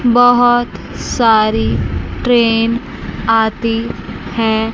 बहुत सारी ट्रेन आती हैं।